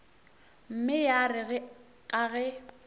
mme ya re ka ge